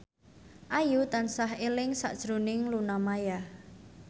Ayu tansah eling sakjroning Luna Maya